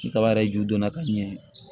Ni kaba yɛrɛ ju donna ka ɲɛ